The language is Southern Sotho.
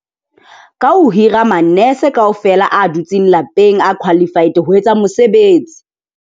Ka ho hira manese kaofela a dutseng lapeng, a qualified ho etsa mosebetsi.